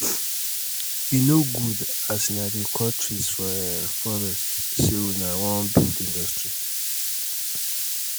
e no good as una dey cut trees for um forest sey una wan build industry.